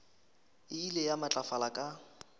e ile ya matlafala ka